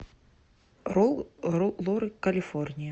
роллы калифорния